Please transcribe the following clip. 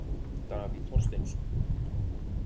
Davíð Þorsteinsson.